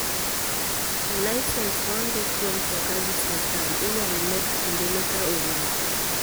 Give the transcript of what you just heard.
Lisens ma ondik go mtoka gi sirkal inyal med kindene ka orumo.